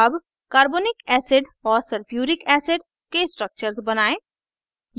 अब carbonic acid h